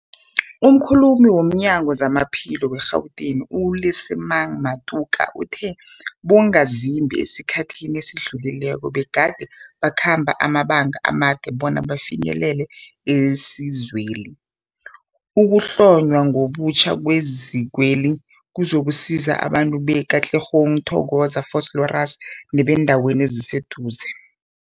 Umkhulumeli womNyango weZamaphilo we-Gauteng, u-Lesemang Matuka uthe abongazimbi esikhathini esidlulileko begade bakhamba amabanga amade bona bafinyelele isizweli. Ukuhlonywa ngobutjha kwezikweli kuzokusiza abantu be-Katlehong, Thokoza, Vosloorus nebeendawo eziseduze.